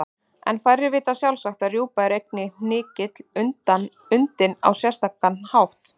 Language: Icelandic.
En færri vita sjálfsagt að rjúpa er einnig hnykill undinn á sérstakan hátt.